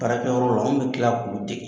Baarakɛyɔrɔ la anw bɛ tila k'olu dege.